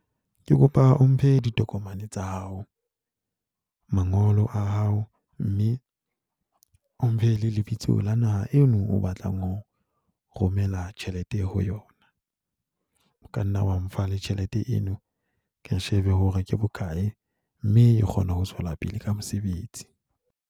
Ke kopa o mphe ditokomane tsa hao, mangolo a hao, mme o mphe le lebitso la naha eno o batlang ho romela tjhelete ho yona. O ka nna wa mfa le tjhelete eno. Ke shebe hore ke bokae, mme e kgona ho tswela pele ka mosebetsi.